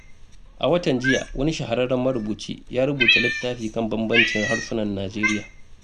A watan jiya, wani shahararren marubuci ya rubuta littafi kan bambancin harsunan Najeriya.